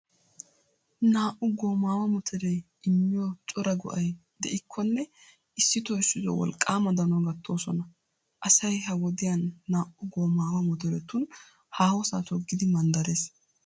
Naa'u goomaawa motoree immiyo cora go'ay de'ikkonne issito issito wolqqaama danuwaa gattoosona. Asay ha wodiyan naa'u goomaawa motoretun haahosaa toggidi manddarees .